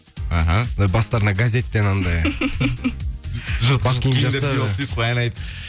аха ана бастарына газеттен анандай жұрт ән айт